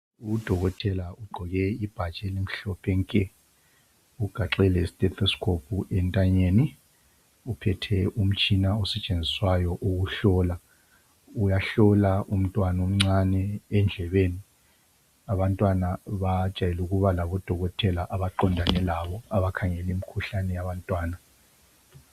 Udokotela ugqoke ibhatshi elimhlophe nke ugaxe le stethoscope entanyeni uphethe umtshina osetshenziswayo ukuhlola uyahlola umntwana omncani endlebeni, abantwana bajayele ukuba labodokotela abaqondane labo abakhangeli mkhuhlane yabantwana.